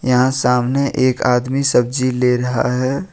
यहां सामने एक आदमी सब्जी ले रहा है।